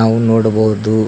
ನಾವು ನೋಡಬಹುದು.